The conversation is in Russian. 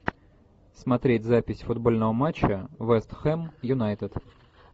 смотреть запись футбольного матча вест хэм юнайтед